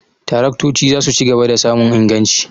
Taraktoci za su ci gaba da samun inganci.